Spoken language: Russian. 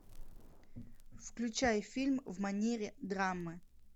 включай фильм в манере драмы